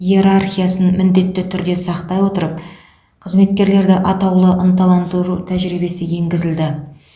иерархиясын міндетті түрде сақтай отырып қызметкерлерді атаулы ынталандыру тәжірибесі енгізілді